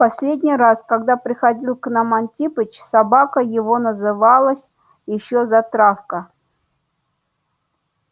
в последний раз когда приходил к нам антипыч собака его называлась ещё затравка